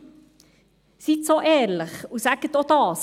Seien Sie so ehrlich und sagen Sie auch dies.